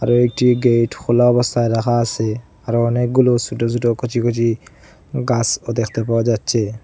দুইটি গেট খোলা অবস্থায় রাখা আসে আরো অনেকগুলো সোটো সোটো কচি কচি গাসও দেখতে পাওয়া যাচ্চে।